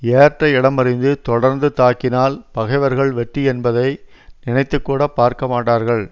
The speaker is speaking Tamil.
ஏற்ற இடமறிந்து தொடர்ந்து தாக்கினால் பகைவர்கள் வெற்றி என்பதை நினைத்து கூட பார்க்க மாட்டார்கள்